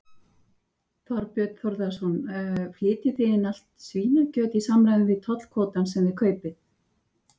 Þorbjörn Þórðarson: Flytjið þið inn allt svínakjöt í samræmi við tollkvótann sem þið kaupið?